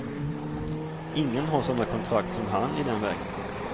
Ingen har såna kontrakt som han i den vägen.